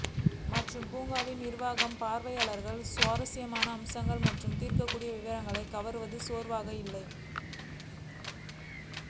மற்றும் பூங்காவில் நிர்வாகம் பார்வையாளர்கள் சுவாரஸ்யமான அம்சங்கள் மற்றும் ஈர்க்கக்கூடிய விவரங்கள் கவர்வது சோர்வாக இல்லை